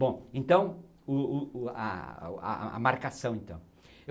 Bom, então, o o o a a a marcação, então.